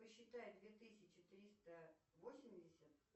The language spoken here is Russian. посчитай две тысячи триста восемьдесят